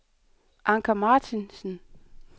Anker Martinsen